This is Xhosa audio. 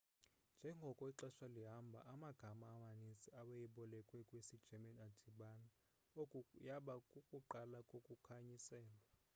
njengoko ixesha lihamba amagama amanintsi awayebolekwe kwisi german adibana oku yaba kukuqala kokukhanyiselwa